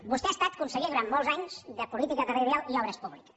vostè ha estat conseller durant molts anys de política territorial i obres públiques